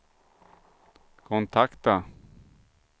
kontakta